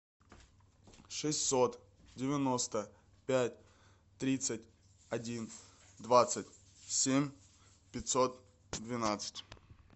шестьсот девяносто пять тридцать один двадцать семь пятьсот двенадцать